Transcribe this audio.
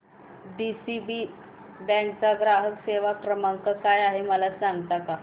DCB bank चा ग्राहक सेवा क्रमांक काय आहे मला सांगता का